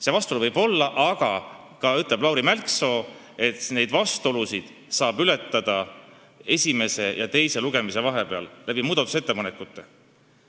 See vastuolu võib olla, aga samas ütleb Lauri Mälksoo, et seda vastuolu saab ületada esimese ja teise lugemise vahel tehtavate muudatusettepanekutega.